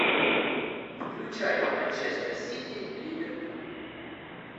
включай манчестер сити ливерпуль